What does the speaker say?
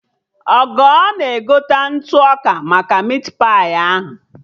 Ogo na-egote ntụ ọka maka mit pai ahụ